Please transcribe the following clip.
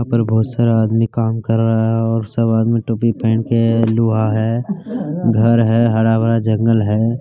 यहाँ पर बहोत सारा आदमी काम कर रहा है और सब आदमी टोपी पहन के लोहा है घर है हरा-भरा जंगल है।